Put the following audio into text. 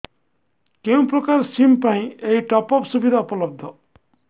କେଉଁ ପ୍ରକାର ସିମ୍ ପାଇଁ ଏଇ ଟପ୍ଅପ୍ ସୁବିଧା ଉପଲବ୍ଧ